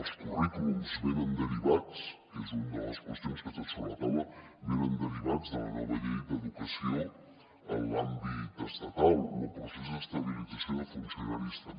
els currículums venen derivats que és una de les qüestions que estan sobre la taula de la nova llei d’educació en l’àmbit estatal o el procés d’estabilització de funcionaris també